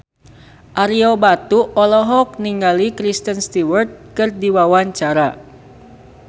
Ario Batu olohok ningali Kristen Stewart keur diwawancara